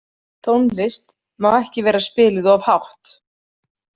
Tónlist má ekki vera spiluð of hátt.